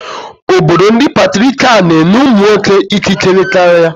Obodo ndị Patriakal na-enye ụmụ nwoke ikikere karịa.